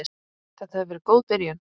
Þetta hefur verið góð byrjun.